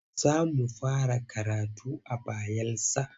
Za mu fara karatu a Bayelsa.